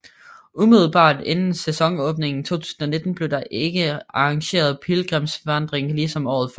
Umiddelbart inden sæsonenåbning 2019 blev der igen arrangeret pilgrimsvandring ligesom året før